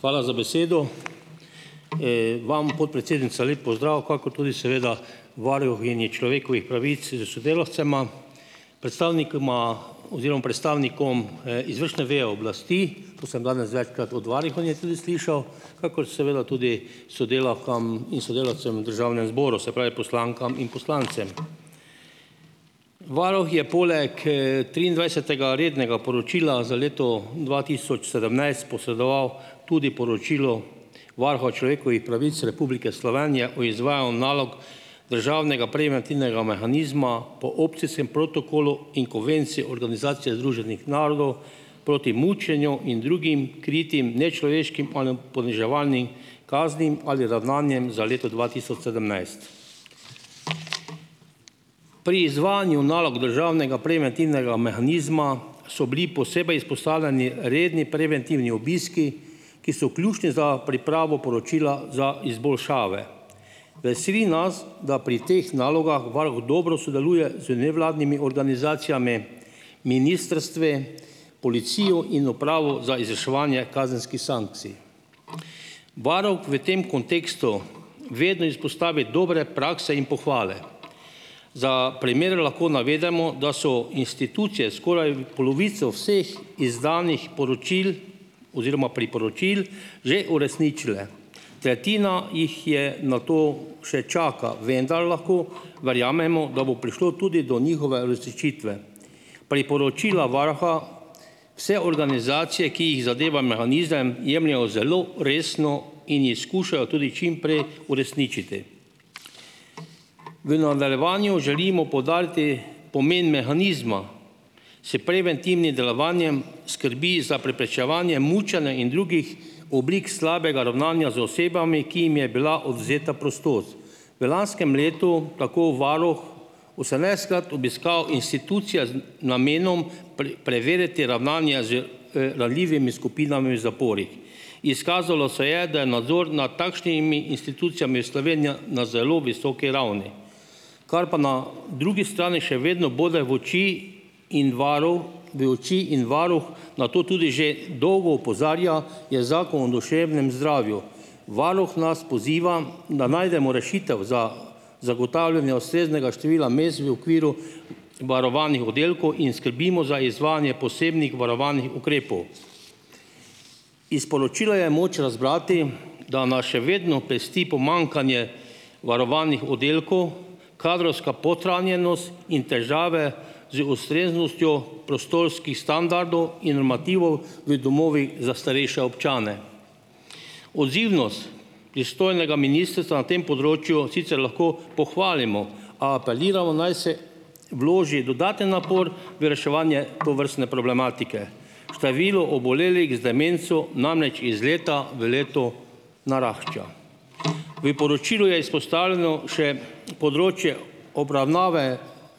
Hvala za besedo. Vam, podpredsednica, lep pozdrav, kakor tudi seveda varuhinji človekovih pravic s sodelavcema, predstavnikoma oziroma predstavnikom, izvršne veje oblasti, to sem danes večkrat od varuhinje tudi slišal, kakor seveda tudi sodelavkam in sodelavcem v državnem zboru, se pravi poslankam in poslancem. Varuh je poleg, triindvajsetega rednega poročila za leto dva tisoč sedemnajst posedoval tudi poročilo Varuha o človekovih pravic Republike Slovenije o izvajal nalog državnega preventivnega mehanizma po opcijskem protokolu in Konvencij Organizacije združenih narodov proti mučenju in drugim kritim, nečloveškim poniževalnim kaznim ali ravnanjem za leto dva tisoč sedemnajst. Pri izvajanju nalog državnega preventivnega mehanizma so bili posebej izpostavljeni redni preventivni obiski, ki so ključni za pripravo poročila za izboljšave. Veseli nas, da pri teh nalogah varuh dobro sodeluje z nevladnimi organizacijami, ministrstvi, policijo in Upravo za izvrševanje kazenskih sankcij. Varuh v tem kontekstu vedno izpostavi dobre prakse in pohvale. Za primer lahko navedemo, da so institucije skoraj polovico vseh izdanih poročil oziroma priporočil že uresničile. Tretjina jih je na to še čaka, vendar lahko verjamemo, da bo prišlo tudi do njihove uresničitve. Priporočila varuha vse organizacije, ki jih zadeva mehanizem, jemljejo zelo resno in jih skušajo tudi čimprej uresničiti. V nadaljevanju želimo poudariti pomeni mehanizma se preventivnim delovanjem skrbi za preprečevanje mučenja in drugih oblik slabega ravnanja z osebami, ki jim je bila odvzeta prostost. V lanskem letu tako varuh osemnajstkrat obiskal institucija z namenom preveriti ravnanje ranljivimi skupinami v zaporih. Izkazalo se je, da je nadzor nad takšnimi institucijami Slovenija na zelo visoki ravni. Kar pa na drugi strani še vedno bode v oči in varuh v oči in varuh na to tudi že dolgo opozarja, je Zakon o duševnem zdravju. Varuh nas poziva, da najdemo rešitev za zagotavljanje ustreznega števila mest v okviru varovanih oddelkov in skrbimo za izvajanje posebnih varovanih ukrepov. Iz poročila je moč razbrati, da nas še vedno pesti pomanjkanje varovanih oddelkov, kadrovska podhranjenost in težave z ustreznostjo prostorskih standardov in normativov v domovih za starejše občane. Odzivnost pristojnega ministrstva na tem področju sicer lahko pohvalimo, a apeliramo, naj se vloži dodaten napor v reševanje tovrstne problematike. Število obolelih z demenco namreč iz leta v leto narašča. Vi poročilu je izpostavljeno še področje obravnave